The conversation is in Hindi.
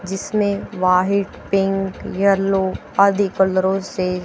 जिसमें व्हाहीट पिंक येलो आदि कलरों से--